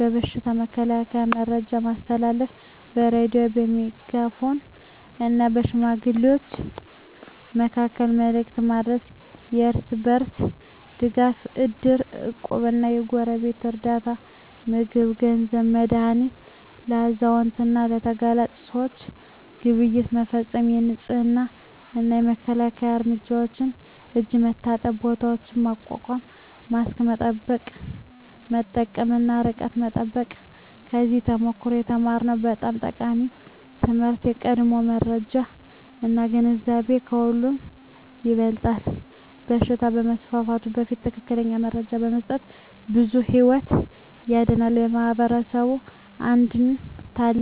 የበሽታ መከላከያ መረጃ ማስተላለፍ በሬዲዮ፣ በሜጋፎን እና በሽማግሌዎች መካከል መልዕክት ማድረስ የእርስ በርስ ድጋፍ እድር፣ እቁብ እና የጎረቤት ርዳታ (ምግብ፣ ገንዘብ፣ መድሃኒት) ለአዛውንት እና ለተጋላጭ ሰዎች ግብይት መፈፀም የንፅህና እና መከላከያ እርምጃዎች የእጅ መታጠቢያ ቦታዎች ማቋቋም ማስክ መጠቀም እና ርቀት መጠበቅ ከዚያ ተሞክሮ የተማርነው በጣም ጠቃሚ ትምህርት የቀድሞ መረጃ እና ግንዛቤ ከሁሉ ይበልጣል በሽታ ከመስፋፋቱ በፊት ትክክለኛ መረጃ መስጠት ብዙ ሕይወት ያድናል። የማኅበረሰብ አንድነት ታላቅ ኃይል ነው ሰዎች እርስ በርስ ሲደጋገፉ ችግሮች ቀላል ይሆናሉ።